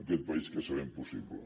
aquest país que sabem possible